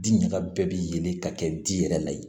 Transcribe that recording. Di ɲaga bɛɛ bilen ka kɛ di yɛrɛ la yen